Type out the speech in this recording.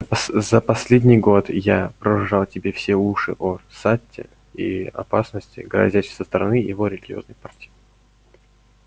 за последний год я прожужжал тебе все уши о сатте и опасности грозящей со стороны его религиозной партии